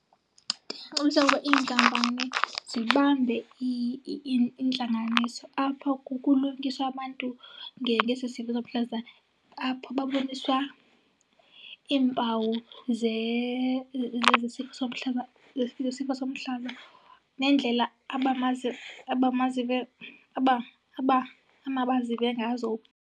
Ndingacebisa ukuba iinkampani zibambe iintlanganiso apho kulungiswa abantu ngesi sifo somhlaza, apho baboniswa iimpawu zesi sifo somhlaz,a zesifo somhlaza neendlela amabazive ngazo.